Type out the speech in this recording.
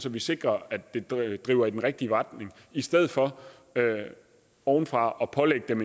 at vi sikrer at det det går i den rigtige retning i stedet for ovenfra at pålægge dem